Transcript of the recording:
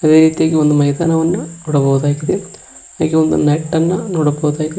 ಅದೇ ರೀತಿಯಾಗಿ ಒಂದು ಮೈದಾನವನ್ನು ನೋಡಬಹುದಾಗಿದೆ ಹಾಗೆ ಒಂದು ನೆಟ್ ಅನ್ನ ನೋಡಬಹುದಾಗಿದೆ.